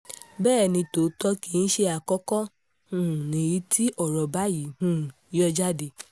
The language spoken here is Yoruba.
bẹ́ẹ̀ ni tòótọ́ kì í ṣe àkókò um nìyí tí ọ̀rọ̀ báyìí um yọ jáde